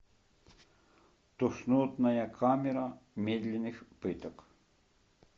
тошнотная камера медленных пыток